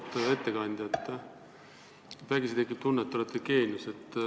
Auväärt ettekandja, vägisi tekib tunne, et te olete geenius.